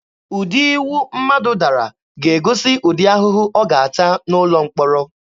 Ụdị iwu mmadụ dara ga-egosi ụdị ahụhụ ọ ga-ata n'ụlọ mkpọrọ.